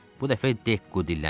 Bu dəfə Dekku dilləndi.